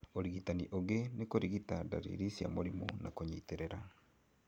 ũrigitani ũngĩ nĩ kũrigita ndariri cia mũrimũ na kũnyitĩrĩra